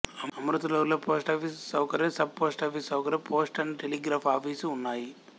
అమృతలూరులో post office సౌకర్యం sub post office సౌకర్యం post and telegraph office ఉన్నాయి